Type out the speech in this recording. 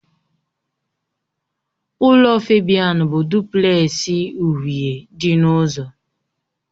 Ụlọ Febian bụ duplẹsị uhie dị n'ụzọ